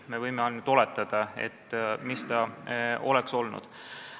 Me võime ainult oletada, mis oleks olnud.